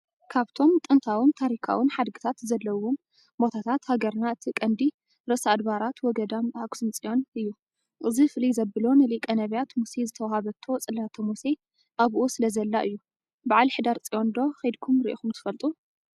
ካብቶም ጥንታውን ታሪካውን ሓድግታት ዘለውዎም ቦታታት ሃገርና እቲ ቀንዲ ርእሰ ኣድባራት ወ-ገዳማት ኣክሱም ፅዮን እዩ፡፡ እዚ ፍልይ ዘብሎ ንሊቀ ነብያት ሙሴ ዝተዋሃበቶ ፅላተ ሙሴ ኣብኡ ስለዘላ እዩ፡፡ በዓል ሕዳር ፅዮን ዶ ኸይድኩም ሪኢኹም ትፈልጡ?